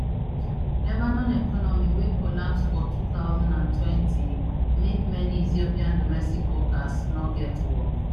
lebanon economy wey collapse for two thousand and twenty make many ethiopian domestic workers no get work